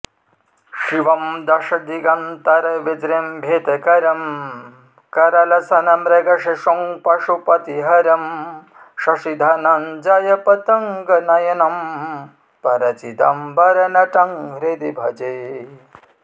शिवं दशदिगन्तरविजृम्भितकरं करलसन्मृगशिशुं पशुपतिं हरं शशिधनञ्जयपतङ्गनयनं परचिदम्बरनटं हृदि भजे